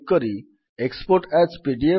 ପୂର୍ବପରି ଆପଣ ସେଭ୍ କରିବାକୁ ଚାହୁଁଥିବା ସ୍ଥାନ ବାଛନ୍ତୁ